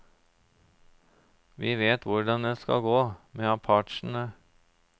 Vi vet hvordan dette skal gå, med apachene.